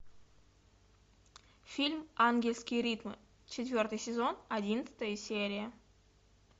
фильм ангельские ритмы четвертый сезон одиннадцатая серия